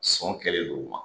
Sɔn kɛlen don o ma.